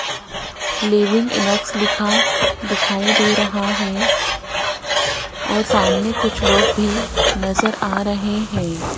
Living Inox लिखा दिखाई दे रहा है और सामने कुछ लोग भी नजर आ रहे हैं।